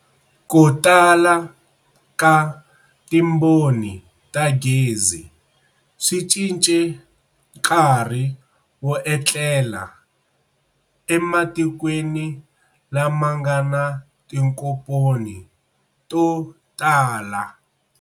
Kutala ka timboni ta gezi, swi cince nkarhi wo etlela e matikweni lama ngana tinkomponi to tala.